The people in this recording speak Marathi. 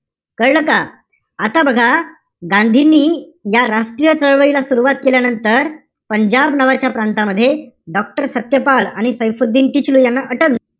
कळलं का? आता बघा, गांधींनी या राष्ट्रीय चळवळीला सुरवात केल्यानंतर पंजाब नावाच्या प्रांतामध्ये doctor सत्यपाल आणि सैफुद्दीन किचलू यांना अटक,